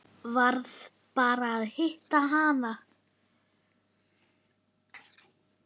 Varð bara að hitta hana.